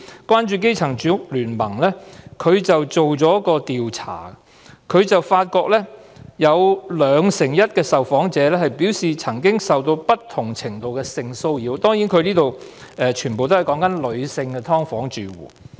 關注基層住屋聯盟曾進行一項調查，發現 21% 的受訪者表示曾經受到不同程度的性騷擾，他們全部都是女性"劏房"住戶。